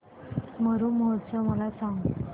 मरु महोत्सव मला सांग